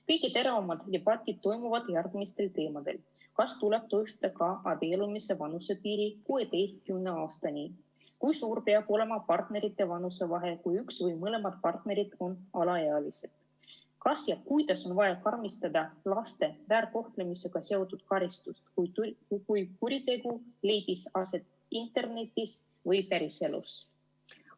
Kõige teravamad debatid toimuvad järgmistel teemadel: kas tuleb tõsta ka abiellumise vanusepiiri 16 eluaastani; kui suur peab olema partnerite vanusevahe, kui üks või mõlemad partnerid on alaealised; kuidas ja kas üldse on vaja karmistada laste väärkohtlemisega seotud karistusi, kui kuritegu leidis aset kas internetis või päriselus.